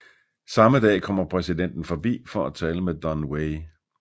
Samme dag kommer præsidenten forbi for at tale med Don Wei